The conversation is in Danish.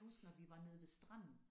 Huske når vi var nede ved stranden